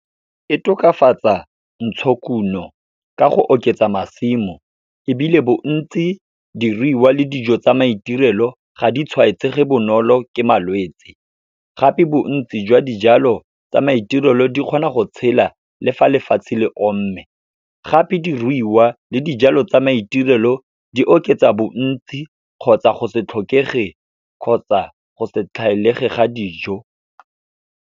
E tokafatsa ntshokuno ka go oketsa masimo, ebile bontsi diruiwa le dijo tsa maitirelo ga di tshwaetsege bonolo ke malwetsi. Gape bontsi jwa dijalo tsa maitirelo di kgona go tshela le fa lefatshe le omme, gape diruiwa le dijalo tsa maitirelo di oketsa bontsi kgotsa go se tlhokege, kgotsa go se tlhaelege ga dijo.